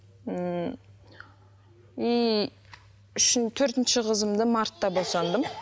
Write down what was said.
ммм төртінші қызымды мартта босандым